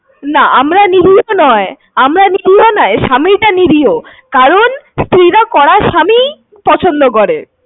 না আমরা নিরীহ নয়। স্বামীটা নিরীহ। কারণ স্ত্রী রা কড়া স্বামী পছন্দ করে।